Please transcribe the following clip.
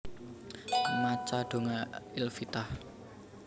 Maca donga Iftitah